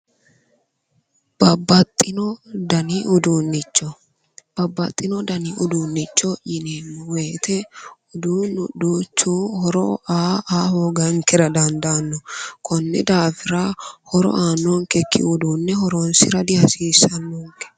babbaxino dani uduunnicho, babbaxino dani uduunnicho yineemmo woyte uduunnu duchu horo aa aa hoogankera dandaanno. konni daafira horo aannonkekki horoonsira dihasiissannonke.